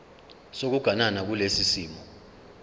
sokuganana kulesi simo